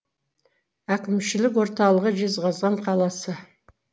әкімшілік орталығы жезқазған қаласы